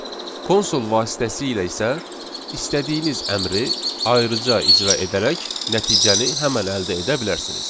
Konsol vasitəsilə isə istədiyiniz əmri ayrıca icra edərək nəticəni həmin əldə edə bilərsiniz.